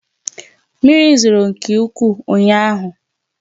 Mmiri zoro nke ukwuu ụnyaahụ